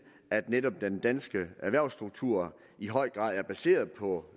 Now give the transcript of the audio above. at netop den danske erhvervsstruktur i høj grad er baseret på